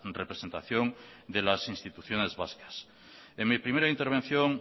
representación de las instituciones vascas en mi primera intervención